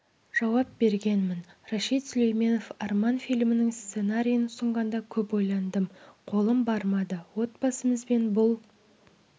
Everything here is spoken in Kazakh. жауап бергенмін рашид сүлейменов арман фильмінің сценариін ұсынғанда көп ойландым қолым бармады отбасымызбен бұл